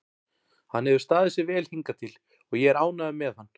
Hann hefur staðið sig vel hingað til og ég er ánægður með hann.